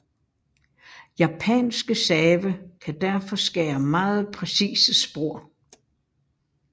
Japanske save kan derfor skære meget præcise spor